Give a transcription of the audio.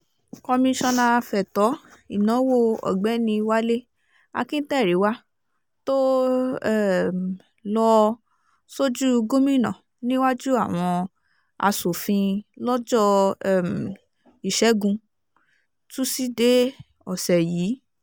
komisanna fẹ̀tọ́ ìnáwó ọ̀gbẹ́ni wálé akinterinwa tó um lọ́ọ́ sójú gómìnà níwájú àwọn asòfin lọ́jọ́ um ìṣẹ́gun túṣídéé ọ̀sẹ̀ yìí